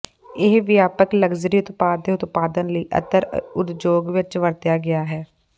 ਇਹ ਵਿਆਪਕ ਲਗਜ਼ਰੀ ਉਤਪਾਦ ਦੇ ਉਤਪਾਦਨ ਲਈ ਅਤਰ ਉਦਯੋਗ ਵਿੱਚ ਵਰਤਿਆ ਗਿਆ ਹੈ